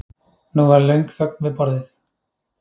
Nú varð lögn þögn við borðið.